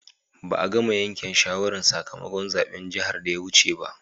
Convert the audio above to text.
Ba'a gama yanken shawaran sakamakon zaben jihar da ya wuce ba.